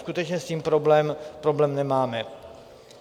Skutečně s tím problém nemáme.